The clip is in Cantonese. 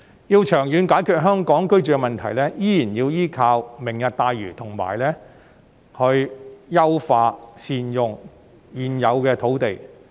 若要長遠解決香港居住問題，仍然要依靠"明日大嶼"，以及優化和善用現有土地。